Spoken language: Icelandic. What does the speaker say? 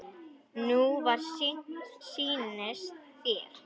Nú hvað sýnist þér.